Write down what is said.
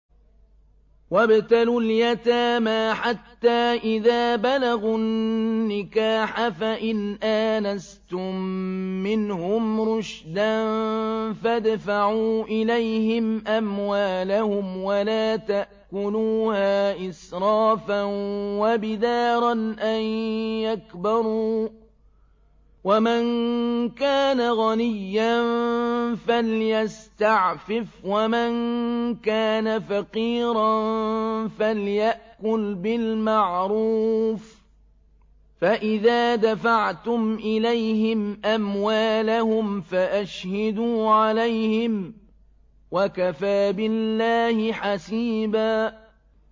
وَابْتَلُوا الْيَتَامَىٰ حَتَّىٰ إِذَا بَلَغُوا النِّكَاحَ فَإِنْ آنَسْتُم مِّنْهُمْ رُشْدًا فَادْفَعُوا إِلَيْهِمْ أَمْوَالَهُمْ ۖ وَلَا تَأْكُلُوهَا إِسْرَافًا وَبِدَارًا أَن يَكْبَرُوا ۚ وَمَن كَانَ غَنِيًّا فَلْيَسْتَعْفِفْ ۖ وَمَن كَانَ فَقِيرًا فَلْيَأْكُلْ بِالْمَعْرُوفِ ۚ فَإِذَا دَفَعْتُمْ إِلَيْهِمْ أَمْوَالَهُمْ فَأَشْهِدُوا عَلَيْهِمْ ۚ وَكَفَىٰ بِاللَّهِ حَسِيبًا